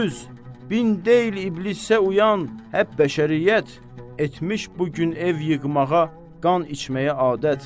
Yüz, min deyil İblisə uyan həp bəşəriyyət etmiş bu gün ev yıxmağa, qan içməyə adət.